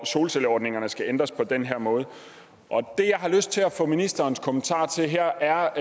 solcelleordningerne skal ændres på den her måde det jeg har lyst til at få ministerens kommentar til her